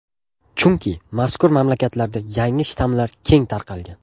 Chunki mazkur mamlakatlarda yangi shtammlar keng tarqalgan.